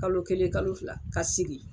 Kalo kelen kalo fila ka sigi.